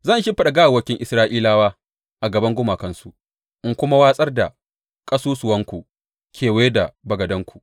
Zan shimfiɗa gawawwakin Isra’ilawa a gaban gumakansu, in kuma watsar da ƙasusuwanku kewaye da bagadanku.